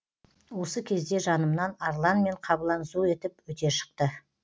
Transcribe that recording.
осы кезде жанымнан арлан мен қабылан зу етіп өте шықты